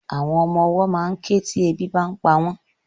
Àwọn ọmọwọ́ ma ń ké tí ebi bá ń pa wọ́n.